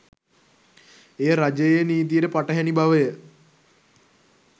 එය රජයේ නීතියට පටහැනි බවය